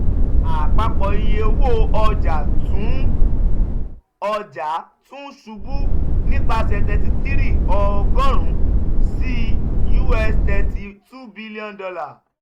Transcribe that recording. apapọ iye owo ọja tun ọja tun ṣubu nipasẹ thirty three ogorun si us $ thirty two bn.